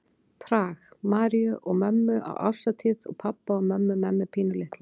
Prag, Maríu og mömmu á árshátíð og pabba og mömmu með mig pínulitla.